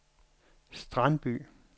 Strandby